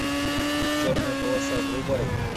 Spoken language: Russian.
черная полоса врубай